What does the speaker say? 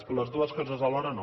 però les dues coses alhora no